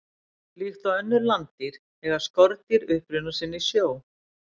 Líkt og önnur landdýr eiga skordýr uppruna sinn í sjó.